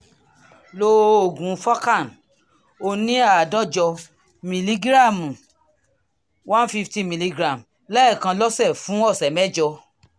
lo oògùn forcan oní àádọ́jọ mìlígíráàmù one fifty milligram lẹ́ẹ̀kan lọ́sẹ̀ fún ọ̀sẹ̀ mẹ́jọ